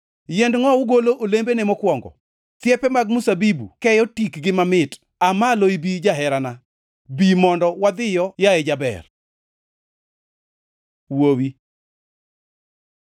Yiend ngʼowu golo olembene mokwongo; thiepe mag mzabibu keyo tikgi mamit. Aa malo ibi, jaherana; bi mondo wadhiyo, yaye jaber.” Wuowi